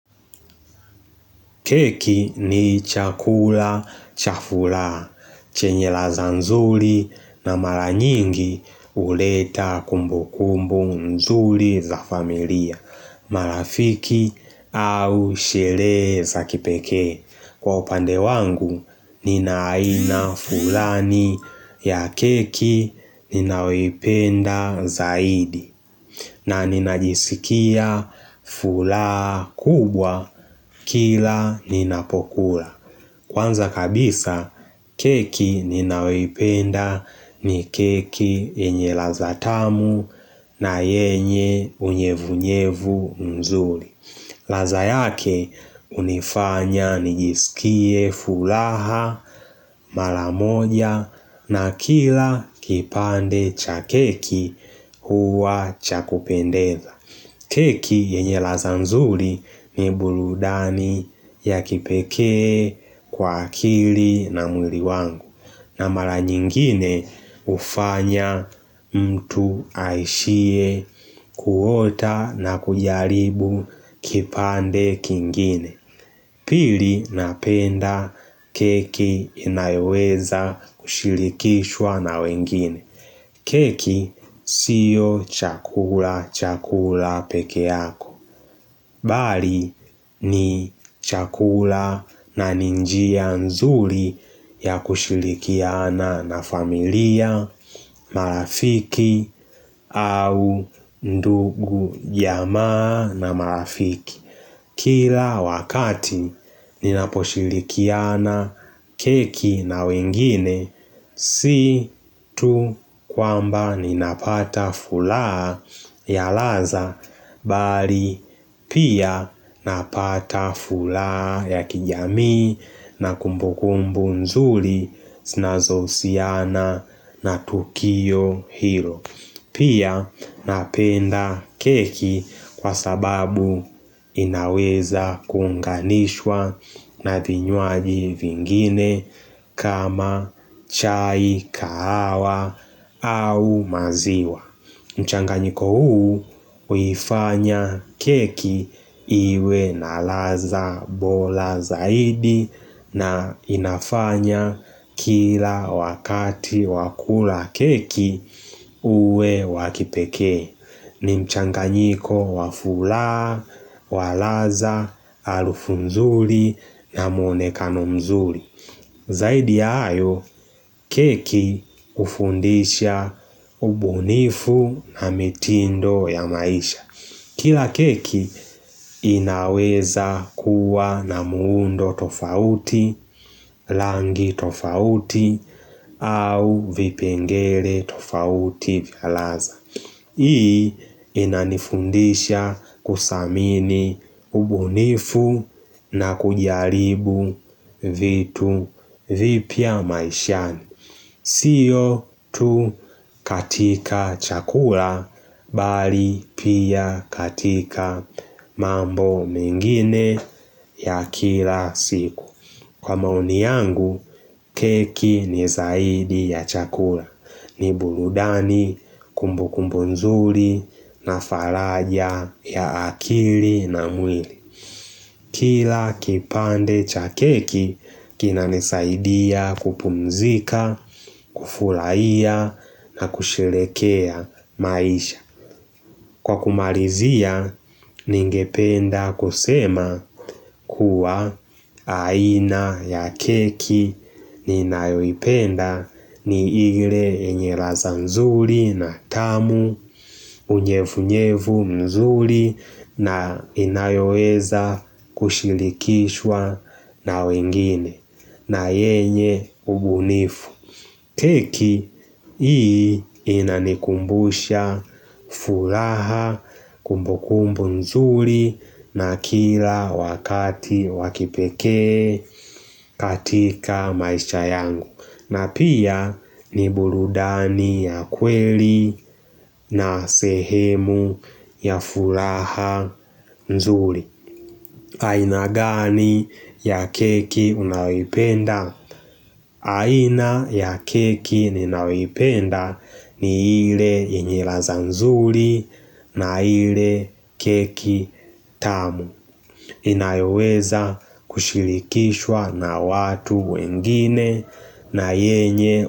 Keki ni chakula cha furaha, chenye ladha nzuri na mara nyingi huleta kumbukumbu nzuri za familia, marafiki au sherehe za kipeke. Kwa upande wangu, nina aina fulani ya keki ninayoipenda zaidi na ninajisikia furaha kubwa kila ninapokula Kwanza kabisa, keki ninayoipenda ni keki yenye ladha tamu na yenye unyevunyevu mzuri ladha yake hunifanya nijisikie furaha mara moja na kila kipande cha keki huwa cha kupendeza. Keki yenye ladha nzuri ni burudani ya kipekee kwa akili na mwili wangu. Na mara nyingine hufanya mtu aishie kuota na kujaribu kipande kingine Pili napenda keki inayoweza kushirikishwa na wengine keki sio chakula cha kula peke yako Bali ni chakula na ni njia nzuri ya kushirikiana na familia, marafiki au ndugu jamaa na marafiki. Kila wakati ninaposhirikiana keki na wengine Sio tu kwamba ninapata furaha ya ladha Bali pia napata furaha ya kijamii na kumbukumbu nzuri zinazohusiana na tukio hilo Pia napenda keki kwa sababu inaweza kuunganishwa na vinywaji vingine kama chai, kahawa au maziwa. Mchanganyiko huu huifanya keki iwe na ladha bora zaidi na inafanya kila wakati wa kula keki uwe wa kipekee. Ni mchanganyiko wa furaha, wa ladha, harufu nzuri na mwonekano mzuri. Zaidi ya hayo keki hufundisha ubunifu na mitindo ya maisha Kila keki inaweza kuwa na muundo tofauti, rangi tofauti au vipengele tofauti vya ladha Hii inanifundisha kuthamini ubunifu na kujaribu vitu vipya maishani Sio tu katika chakula bali pia katika mambo mengine ya kila siku kwa maoni yangu keki ni zaidi ya chakula ni burudani, kumbukumbu nzuri na faraja ya akili na mwili Kila kipande cha keki kinanisaidia kupumzika, kufurahia na kusherehekea maisha Kwa kumalizia, ningependa kusema kuwa aina ya keki ninayoipenda ni ile yenye ladha nzuri na tamu, unyevunyevu mzuri na inayoweza kushirikishwa na wengine na yenye ubunifu. Keki hii inanikumbusha furaha kumbukumbu nzuri na kila wakati wa kipekee katika maisha yangu na pia ni burudani ya kweli na sehemu ya furaha nzuri aina gani ya keki unayoipenda? Aina ya keki ninayoipenda ni ile yenye ladha zuri na ile keki tamu inayoweza kushirikishwa na watu wengine na yenye.